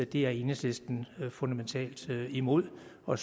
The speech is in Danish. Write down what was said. det er enhedslisten fundamentalt imod og